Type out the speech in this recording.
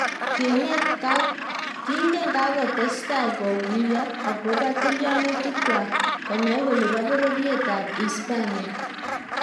kingye kakotestai kaguiyo akobo tilyaunitik kwat konai kole po pororyet ab uispania